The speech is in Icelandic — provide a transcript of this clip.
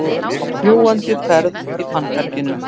Á fljúgandi ferð í fannferginu